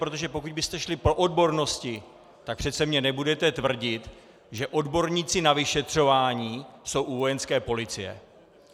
Protože pokud byste šli po odbornosti, tak přece mi nebudete tvrdit, že odborníci na vyšetřování jsou u Vojenské policie.